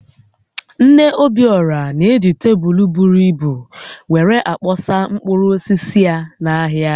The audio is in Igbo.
Nne Obiora na-eji tebụl buru ibu were akoọsa mkpụrụ osisi ya n’ahịa